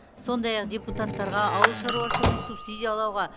сондай ақ депутататтарға ауыл шаруашылығын субсидиялауға